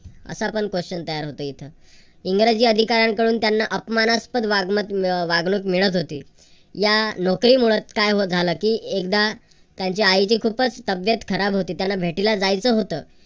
असा पण question तयार होतो इथं. इंग्रजी अधिकाऱ्यांकडून त्यांना अपमानास्पद वागमत अह वागणूक मिळत होती. या नोकरी मुळच काय झालं की एकदा त्यांच्या आईची खूपच तब्येत खराब होती त्यांना भेटीला जायचं होतं.